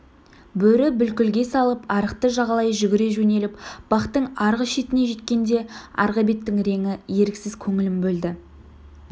бөрі бүлкілге салып арықты жағалай жүгіре жөнеліп бақтың арғы шетіне жеткенде арғы беттің реңі еріксіз көңілін бөлді